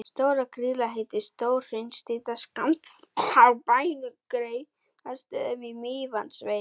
Stóra-Grýla heitir stór hraunstrýta skammt frá bænum Geirastöðum í Mývatnssveit.